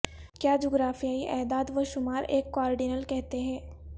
کیا جغرافیائی اعداد و شمار ایک کواڈرنل کہتے ہیں